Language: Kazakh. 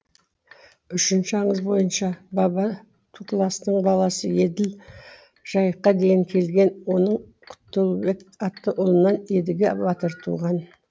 үшінші аңыз бойынша баба тукластың баласы еділ жайыққа дейін келген оның құтылбек атты ұлынан едіге батыр туған